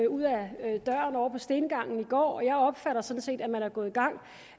ud af døren ovre på stengangen og jeg opfatter sådan set at man er gået i gang